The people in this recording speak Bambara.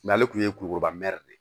ale tun ye kulikoro mɛr de